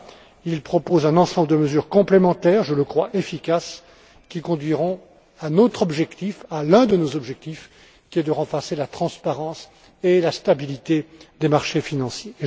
G20. Il propose un ensemble de mesures complémentaires je le crois, efficaces qui conduiront à l'un de nos objectifs, qui est de renforcer la transparence et la stabilité des marchés financiers.